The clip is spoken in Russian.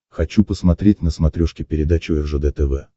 хочу посмотреть на смотрешке передачу ржд тв